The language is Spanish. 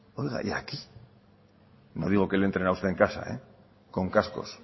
oiga y aquí no digo que le entren a usted en casa con cascos